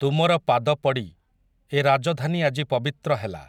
ତୁମର ପାଦପଡ଼ି, ଏ ରାଜଧାନୀ ଆଜି ପବିତ୍ର ହେଲା ।